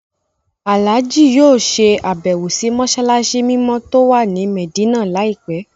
Àlájì yóò ṣe àbẹ́wò sì mọ́ṣáláṣí mímọ́ tó wà ní Mẹ̀dínà láìpẹ́